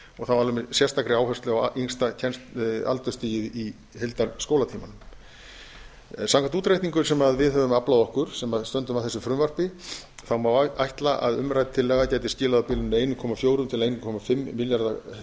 þá alveg með sérstakri áherslu á yngsta aldursstigið í heildarskólatímanum samkvæmt útreikningum sem við höfum aflað okkur sem stöndum að þessu frumvarpi má ætla að umrædd tillaga gæti skilað á bilinu einn komma fjögur til einn komma fimm milljarða